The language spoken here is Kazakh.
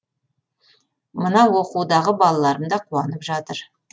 мына оқудағы балаларым да қуанып жатыр